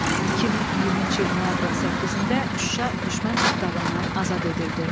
2020-ci il noyabrın 8-də Şuşa düşmən tapdağından azad edildi.